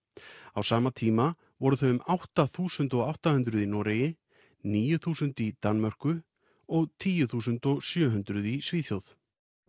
á sama tíma voru þau um átta þúsund átta hundruð í Noregi níu þúsund í Danmörku og tíu þúsund sjö hundruð í Svíþjóð